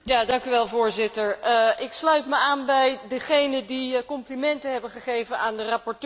Voorzitter, ik sluit me aan bij degenen die complimenten hebben gegeven aan de rapporteur.